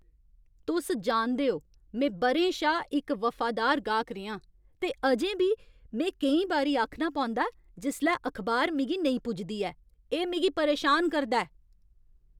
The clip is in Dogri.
तुस जानदे ओ, में ब'रें शा इक वफादार गाह्क रेहां, ते अजें बी में केईं बारी आखना पौंदा ऐ जिसलै अखबार मिगी नेईं पुजदी ऐ। एह् मिगी परेशान करदा ऐ।